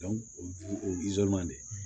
o de